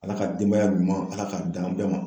Ala ka denbaya ɲuman Ala k'a d'an bɛɛ ma